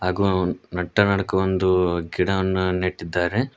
ಹಾಗು ನಟ್ಟ ನಡಕ್ಕ ಒಂದು ಗಿಡವನ್ನ ನೆಟ್ಟಿದ್ದಾರೆ.